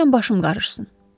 İstəyirəm başım qarışsın.